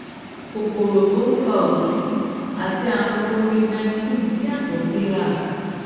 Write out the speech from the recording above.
Kòkòrò tó ń fa òtútù àti ààrùn COVID-19 yàtọ̀ síra